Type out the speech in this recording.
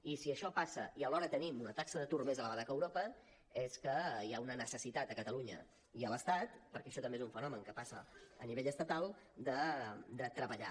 i si això passa i alhora tenim una taxa d’atur més elevada que europa és que hi ha una necessitat a catalunya i a l’estat perquè això també és un fenomen que passa a nivell estatal de treballar